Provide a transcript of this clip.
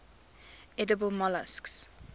edible molluscs